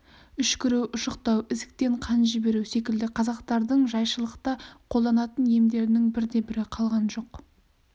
үшкіру ұшықтау ісіктен қан жіберу секілді қазақтардың жайшылықта қолданатын емдерінің бірде-бірі қалған жоқ